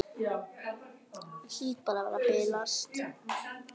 Hlýt bara að vera að bilast.